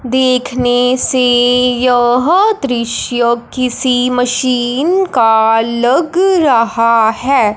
देखने से यह दृश्य किसी मशीन का लग रहा है।